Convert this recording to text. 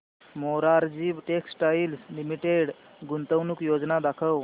Morarji textiles limited गुंतवणूक योजना दाखव